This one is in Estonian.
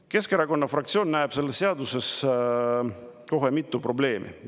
Keskerakonna fraktsioon näeb selles seaduses kohe mitut probleemi.